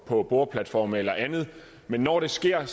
på boreplatforme eller andet men når det sker